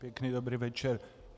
Pěkný dobrý večer.